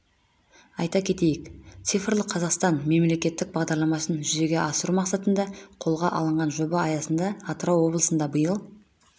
айта кетейік цифрлық қазақстан мемлекеттік бағдарламасын жүзеге асыру мақсатында қолға алынған жоба аясында атырау облысында биыл